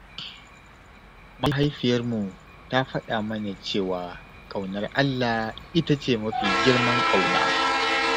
Mahaifiyarmu ta faɗa mana cewa ƙaunar Allah ita ce mafi girman ƙauna.